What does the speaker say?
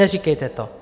Neříkejte to!